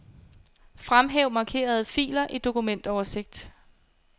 Fremhæv markerede filer i dokumentoversigt.